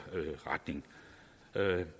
retning